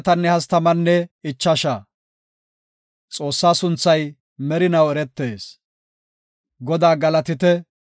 Godaa galatite! Hinteno, Godaa aylleto, Godaa sunthaa galatite!